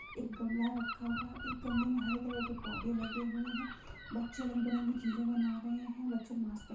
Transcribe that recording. एक गमला रखा हूआ है| एक गमले मे हरे कलर के पौधा लगे हुए है| बच्चे रंग बी रंगी छीजे बना रहे है| बच्चे मास्क पे--